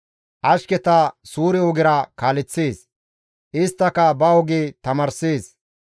Ashketa suure ogera kaaleththees; isttaka ba oge tamaarssees.